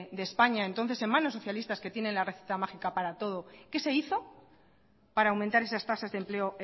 de españa entonces en manos socialistas que tienen la varita mágica para todo qué se hizo para aumentar esas tasas de empleo